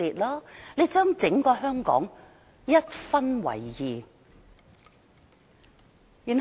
她把整個香港一分為二。